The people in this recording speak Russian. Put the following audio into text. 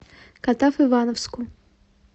катав ивановску